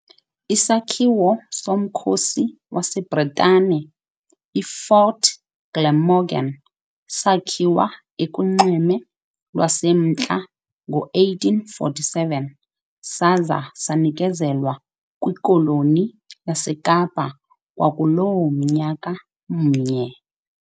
Isakhiwo somkhosi waseBritane, i-Fort Glamorgan, sakhiwa ekuNxweme lwaseMntla ngo-1847, saza sanikezelwa kiKoloni yaseKapa kwakuloo mnyaka mnye.